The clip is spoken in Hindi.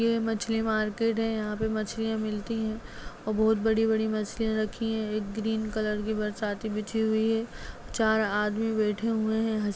ये मछली मार्केट है यहाँ पे मछलियाँ मिलती हैं औ बहुत बड़ी बड़ी मछलियाँ रखी हैं एक ग्रीन कलर की बरसाती बिछी हुई है चार आदमी बैठे हुए हैं।